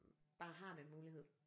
Bare har den mulighed